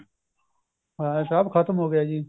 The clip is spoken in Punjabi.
ਹਾਂ ਸਭ ਖਤਮ ਹੋ ਗਿਆ ਜੀ